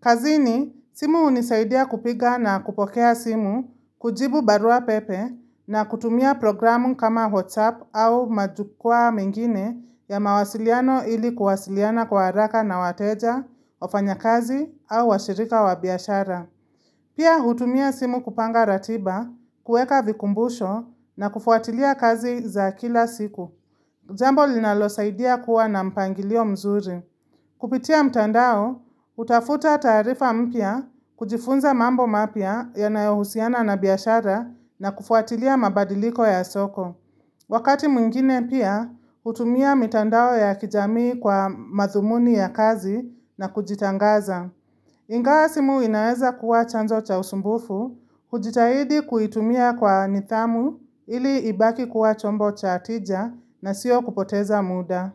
Kazini, simu unisaidia kupiga na kupokea simu, kujibu barua pepe na kutumia programu kama WhatsApp au majukua mengine ya mawasiliano ili kuwasiliana kwa haraka na wateja, ofanya kazi au washirika wabiashara. Pia hutumia simu kupanga ratiba, kueka vikumbusho na kufuatilia kazi za kila siku. Jambo linalo saidia kuwa na mpangilio mzuri. Kupitia mtandao, utafuta tarifa mpia, kujifunza mambo mapia ya nayohusiana na biyashara na kufuatilia mabadiliko ya soko. Wakati mwingine pia hutumia mtandao ya kijamii kwa madhumuni ya kazi na kujitangaza. Ingawa simu inaeza kuwa chanzo cha usumbufu, hujitahidi kuitumia kwa nithamu ili ibaki kuwa chombo cha tija na siyo kupoteza muda.